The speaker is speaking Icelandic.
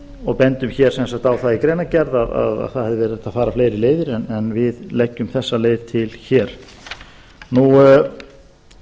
og bendum hér sem sagt á það í greinargerð að það hefði verið hægt að fara fleiri leiðir en við leggjum þessa leið til hér nú